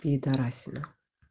пидорасина